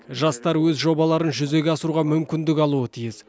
жастар өз жобаларын жүзеге асыруға мүмкіндік алуы тиіс